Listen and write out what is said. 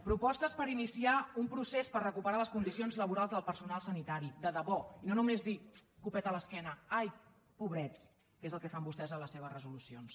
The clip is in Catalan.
propostes per iniciar un procés per recuperar les condicions laborals del personal sanitari de debò i no només dir copet a l’esquena ai pobrets que és el que fan vostès a les seves resolucions